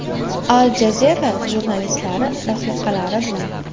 Al Jazeera jurnalistlari rafiqalari bilan.